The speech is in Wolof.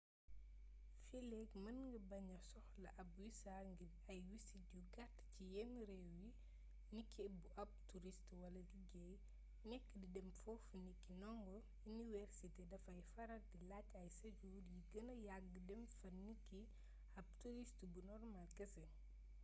fiileek mën nga baña soxla ab wisa ngir ay wisit yu gàtt ci yenn réew yi niki bu ab turist wala liggéey nekk di dem foofu niki ndongo iniwersité dafay faral di laaj ay séjour yu gëna yagg dem fa niki ab turist bu normal kese